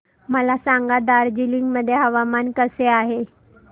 मला सांगा दार्जिलिंग मध्ये हवामान कसे आहे